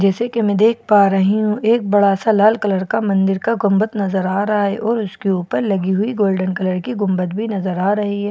जैसे कि हम देख पा रही हूं एक बड़ा सा लाल कलर का मन्दिर का गुंबद नजर आ रहा है और उसके ऊपर लगी हुई गोल्डेन कलर की गुंबद भी नजर आ रही है।